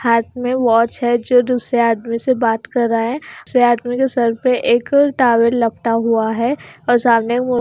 हाथ में वॉच है जो दूसरे आदमी से बात कर रहा है दूसरे आदमी के सर पे एक टॉवेल लपटा हुआ है और सामने--